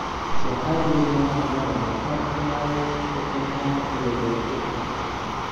Waxaa joognaa annaga, Arsenal, Tottenham iyo Leicester.